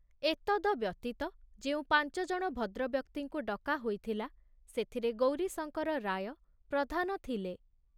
ଏତଦ ବ୍ୟତୀତ ଯେଉଁ ପାଞ୍ଚଜଣ ଭଦ୍ରବ୍ୟକ୍ତିଙ୍କୁ ଡକା ହୋଇଥିଲା ସେଥିରେ ଗୌରୀଶଙ୍କର ରାୟ ପ୍ରଧାନ ଥିଲେ।